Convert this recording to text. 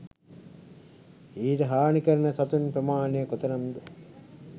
ඊට හානි කරන සතුන් ප්‍රමාණය කො තරම් ද?